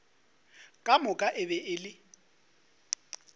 moka e be e le